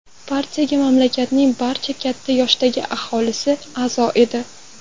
Partiyaga mamlakatning barcha katta yoshdagi aholisi a’zo edi.